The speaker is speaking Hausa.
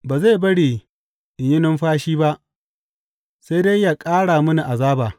Ba zai bari in yi numfashi ba, sai dai yă ƙara mini azaba.